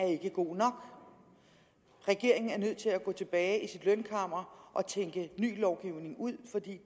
ikke er god nok regeringen er nødt til at gå tilbage i sit lønkammer og tænke ny lovgivning ud for